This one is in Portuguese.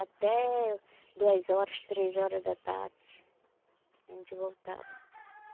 Até duas horas, três horas da tarde a gente voltava.